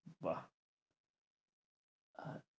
বাহ্